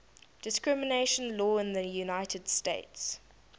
discrimination law in the united states